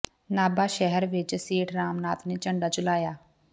ਨਾਭਾ ਸ਼ਹਿਰ ਵਿਚ ਸੇਠ ਰਾਮ ਨਾਥ ਨੇ ਝੰਡਾ ਝੁਲਾਇਆ